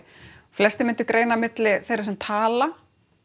flestir myndu greina milli þeirra sem tala